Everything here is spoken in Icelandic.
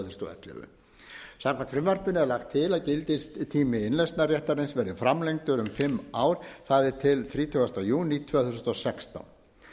þúsund og ellefu samkvæmt frumvarpinu er lagt til að gildistími innlausnarréttarins verði framlengdur um fimm ár það er til þrítugasta júní tvö þúsund og sextán